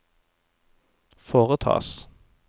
foretas